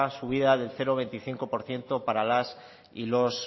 subida del cero coma veinticinco por ciento para las y los